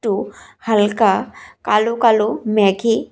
একটু হালকা কালো কালো মেঘে--